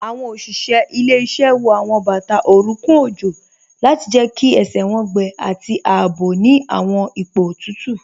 Awọn oṣiṣẹ ilẹ̀-iṣẹ wọ awọn bata oruńkùn ojó lati jẹ́ kí ẹṣẹ wọn gbẹ̀ ati àabò ni awọn ipo tutu